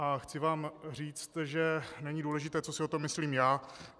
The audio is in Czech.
A chci vám říct, že není důležité, co si o tom myslím já.